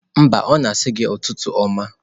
Mba, ọ na-asị gi ụtụtụ ọma